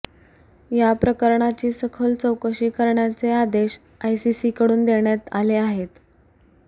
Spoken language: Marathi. या प्रकरणाची सखोल चौकशी करण्याचे आदेश आयसीसीकडून देण्यात आले आहेत